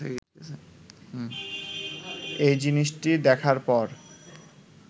এ জিনিসটি দেখার পর